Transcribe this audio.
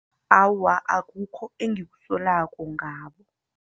Awa, akukho engikusolako ngabo.